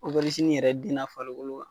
yɛrɛ den n'a falikolo wa